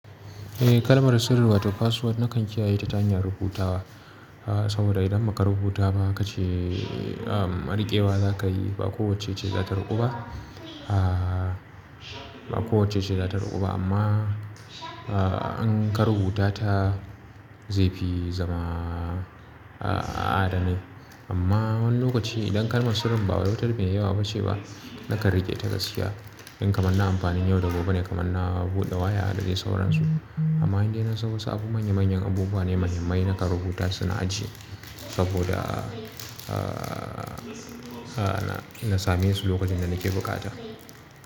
Eh kalmar sirri wato password nakan kiyaye ta ta hanyar rubutawa. Saboda idan baka rubuta ba kace mariƙewa za ka yi ba kowacce ce za ta ruƙu ba, ba kowacce ce za ta ruƙu ba amma in ka rubuta ta zai fi zama adane. Amma wani lokaci idan kalmar sirrin bawai wata mai yawa ba ce ba, nakan riƙe ta gaskiya. In kamanna amfani da yau da gobe ne kamanna buɗe waya da dai sauransu. Amma indai nasan wasu abu manya manyan abubuwa ne manyan mai naka rubuta suna ajiye saboda na same su lokacin da nake bukata.